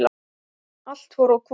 Allt fór á hvolf.